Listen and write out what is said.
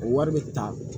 O wari bɛ ta